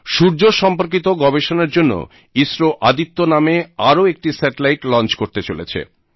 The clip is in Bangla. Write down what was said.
সূর্য সম্পর্কিত গবেষনার জন্য ইসরো আদিত্য নামে আরও একটি স্যাটেলাইট লঞ্চ করতে চলেছে